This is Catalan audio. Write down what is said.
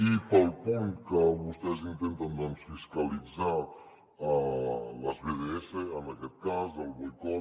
i pel punt que vostès intenten doncs fiscalitzar les bds en aquest cas el boicot